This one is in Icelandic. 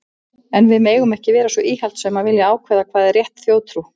En við megum ekki vera svo íhaldssöm að vilja ákveða hvað er rétt þjóðtrú.